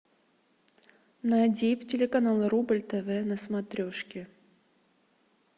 найди телеканал рубль тв на смотрешке